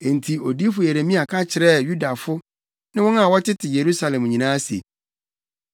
Enti odiyifo Yeremia ka kyerɛɛ Yudafo ne wɔn a wɔtete Yerusalem nyinaa se,